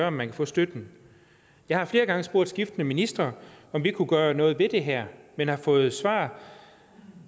om man kan få støtten jeg har flere gange spurgt skiftende ministre om vi kunne gøre noget ved det her men har fået svar